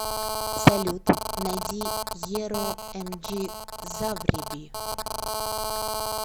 салют найди еро эмджизавреби